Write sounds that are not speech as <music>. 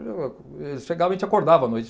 <unintelligible> Eles chegavam e te acordavam à noite.